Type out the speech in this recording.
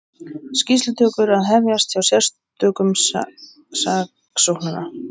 Skýrslutökur að hefjast hjá sérstökum saksóknara